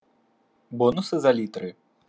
бонусы за литры